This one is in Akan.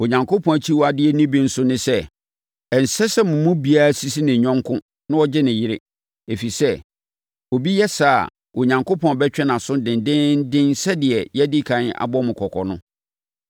Onyankopɔn akyiwadeɛ no bi nso ne sɛ, ɛnsɛ sɛ mo mu biara sisi ne yɔnko na ɔgye ne yere, ɛfiri sɛ, sɛ obi yɛ saa a, Onyankopɔn bɛtwe nʼaso dendeenden sɛdeɛ yɛadi ɛkan abɔ mo kɔkɔ no.